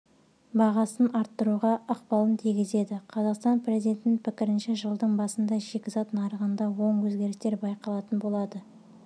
бағасын арттыруға ықпалын тигізеді қазақстан президентінің пікірінше жылдың басында шикізат нарығында оң өзгерістер байқалатын болады